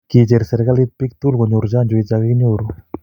kicheer serikalit biik kunyoru chanjoit ya kokinyoru